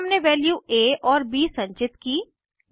फिर हमने वैल्यू आ और ब संचित कीं